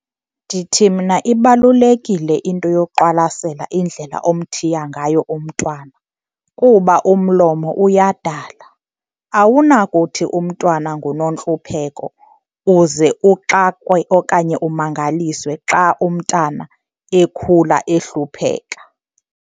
Ndithi mna ibalulekile into yoqwalasela indlela omthiya ngayo umntwana kuba umlomo uyadala. Awunakuthi umntwana nguNontlupheko uze uxakwe okanye umangaliswe xa umntana ekhula ehlupheka.